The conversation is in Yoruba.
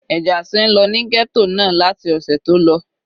Ìjà ti ń lọ ní ghetto náà láti ọ̀sẹ̀ tó lọ.